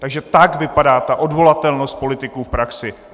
Takže tak vypadá ta odvolatelnost politiků v praxi.